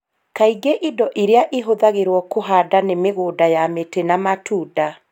Kaingĩ Indo iria ihũthagĩrũo kũhanda nĩ mĩgũnda ya mĩtĩ ya matunda